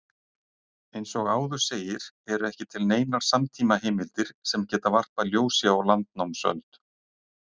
Eins og áður segir eru ekki til neinar samtímaheimildir sem geta varpað ljósi á landnámsöld.